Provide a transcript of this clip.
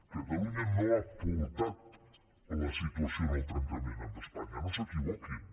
catalunya no ha portat la situació al trencament amb espanya no s’equivoquin